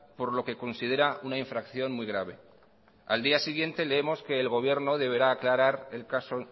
por lo que considera una infracción muy grave al día siguiente leemos que el gobierno deberá aclarar el caso